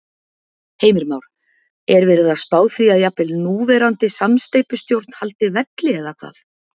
Heimir Már: Er verið að spá því að jafnvel núverandi samsteypustjórn haldi velli eða hvað?